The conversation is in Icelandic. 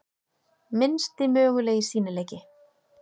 Minnsti mögulegi sýnileiki.